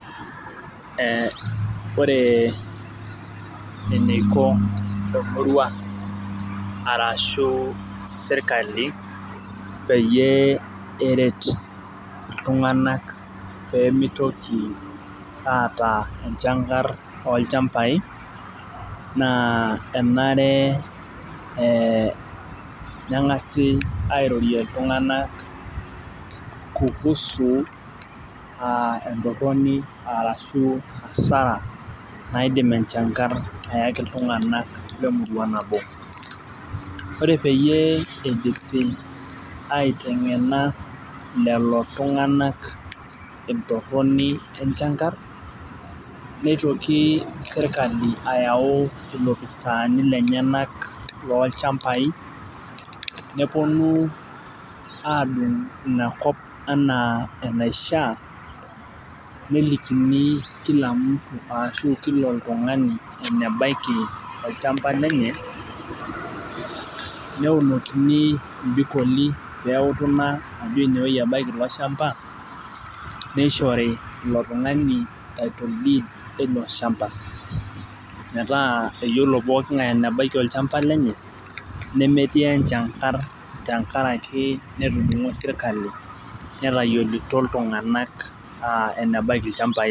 ore eniko emurua arashu serikali peyie eret itung'anak pee mitoki aata enchangar oolchambai naa enare neng'asi airorie iltung'anak kuhusu entoroni aa ashu asara naidim enchangar ayaki iltung'anak lemurua nabo , ore peyie idipi aiteng'ena entoroni enchangar nitoki serikali ayau ilopisaani lenyanak loo ilchambai aadung' inakop enaa enaishaa nelikini kilamutu ashuu kila oltung'ani, enebaki olchamba lenye neeunokini ibikoli pee eutu ina ajo ineweji ebaki iloshamba nishori ilo tung'ani title deed ilo shamba , metaa eyiolo pooki ng'ae enebaki olchamba lenye nemetii enchangar tengaraki netayioito sirkali enebaki olchamba lenye.